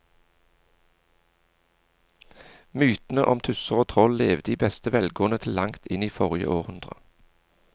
Mytene om tusser og troll levde i beste velgående til langt inn i forrige århundre.